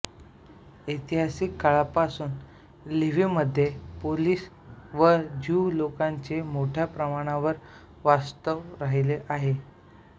ऐतिहासिक काळापासून लिव्हिवमध्ये पोलिश व ज्यू लोकांचे मोठ्या प्रमाणावर वास्तव्य राहिले आहे